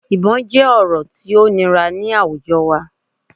Ibọn jẹ ọrọ ti o nira ni awujọ wa